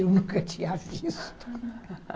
Eu nunca tinha visto